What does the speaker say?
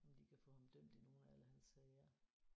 Om de kan få ham dømt i nogle af alle hans sager